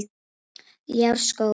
Ljárskógum